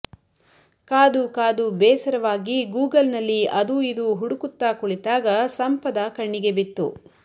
ಕಾದು ಕಾದು ಬೇಸರವಾಗಿ ಗೂಗಲ್ ನಲ್ಲಿ ಅದೂ ಇದೂ ಹುಡುಕುತ್ತಾ ಕುಳಿತಾಗ ಸಂಪದ ಕಣ್ಣಿಗೆ ಬಿತ್ತು